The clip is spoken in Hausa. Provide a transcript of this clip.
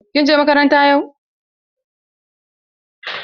Kin je makaranta yau?